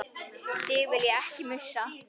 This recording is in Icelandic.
Þig vil ég ekki missa.